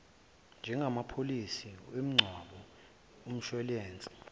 njengamapholisi emingcwabo umshwalense